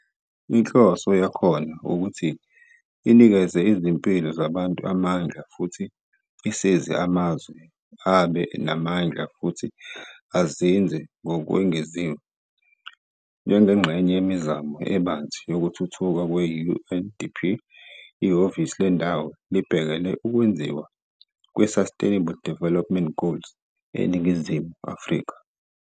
Inhloso yakhona ukuthi inikeze izimpilo zabantu amandla futhi isize amazwe ukuba abe namandla futhi azinze ngokwengeziwe. Njengengxenye yemizamo ebanzi yokuthuthuka kwe-UNDP, ihhovisi lendawo libhekele ukwenziwa kweSustainable Development Goals, SDG, eNingizimu Afrika.